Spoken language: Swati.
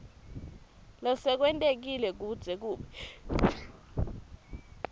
lesekwentekile kuze kube